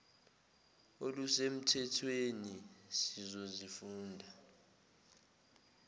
oluse mthethweni sizozifunda